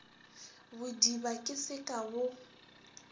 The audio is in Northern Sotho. bodiba ke se ka bo